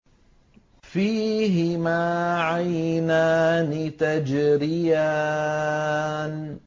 فِيهِمَا عَيْنَانِ تَجْرِيَانِ